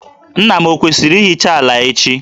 Nna m ọ kwesiri ịhicha ala echi?